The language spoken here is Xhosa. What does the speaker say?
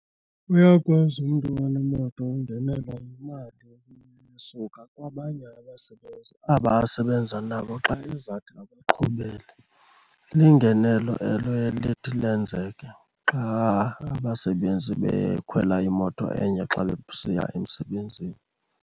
Uyakwazi umntu onemoto ungenelwa yimali esuka kwabanye aba asebenzi xa ezathi abaqhubele. Lingenelo elo lithi lenzeke xa abasebenzi bekhwela imoto enye xa besiya emsebenzini.